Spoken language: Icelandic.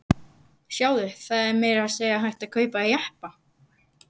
Sjáðu, það er meira að segja hægt að kaupa jeppa!